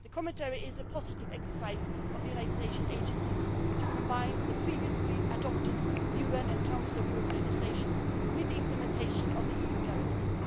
The commentary is a positive exercise by the United Nations' agencies to combine the previously adopted UN and Council of Europe legislation with the implementation of the EU Directive.